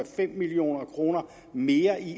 5 million kroner mere i